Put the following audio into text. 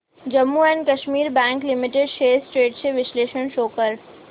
Jammu and Kashmir bank limited shares trends चे विश्लेषण show कर